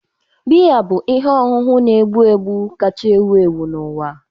Biya bụ ihe ọṅụṅụ na-egbu egbu kacha ewu ewu n'ụwa.